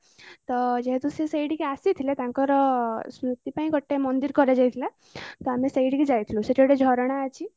ତ ଯେହେତୁ ସେ ସେଇଠିକି ଆସିଥିଲେ ତାଙ୍କର ଶ୍ମୃତି ପାଇଁ ଗୋଟେ ମନ୍ଦିର କରା ଯାଇଥିଲା ତ ଆମେ ସେଇଠିକି ଜାଇଥିଲୁ ସେଠାରେ ଗୋଟେ ଝରଣା ଅଛି